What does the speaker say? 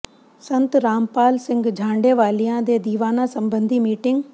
ਸੰਤ ਰਾਮਪਾਲ ਸਿੰਘ ਝਾਂਡੇ ਵਾਲਿਆਂ ਦੇ ਦੀਵਾਨਾਂ ਸਬੰਧੀ ਮੀਟਿੰਗ